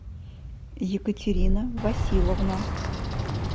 екатерина василовна